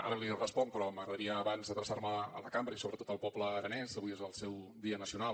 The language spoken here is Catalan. ara li responc però m’agradaria abans adreçar me a la cambra i sobretot al poble aranès avui és el seu dia nacional